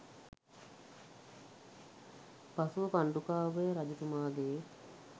පසුව පණ්ඩුකාභය රජතුමා ගේ්